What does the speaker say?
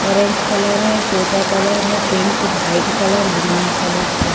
orange colour हैतोता colour हैपिंक white colour green colour black --